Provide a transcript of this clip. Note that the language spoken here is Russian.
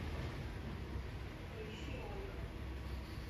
поищи ольга